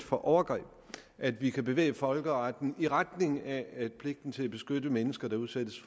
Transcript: for overgreb at vi kan bevæge folkeretten i retning af at pligten til at beskytte mennesker der udsættes